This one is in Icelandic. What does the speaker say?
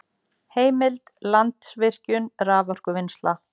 Heimild: Landsvirkjun- raforkuvinnsla